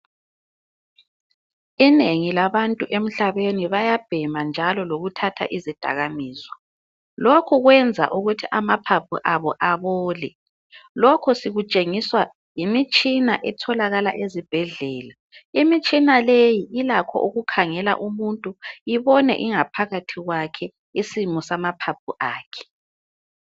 Inengi labantu emhlabeni bayabhema njalo lokuthatha izidakamizwa lokhe kwenza ukuthi amaphaphu abo abole lokhu sikutshengiswa yimitshina etholakala ezibhedlela imitshina leyi ilakho ukukhangela umuntu ibone ingaphakathi kwakhe isimo samaphaphu akhe.